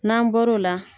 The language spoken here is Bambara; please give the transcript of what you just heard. N'an bɔr'o la